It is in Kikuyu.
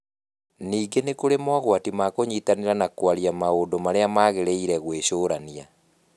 Ningĩ nĩ kũrĩ mogwati ma kũnyitanĩra na kwaria maũndũ marĩa magĩrĩire gwĩcũrania.